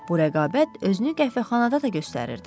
Bu rəqabət özünü qəhvəxanada da göstərirdi.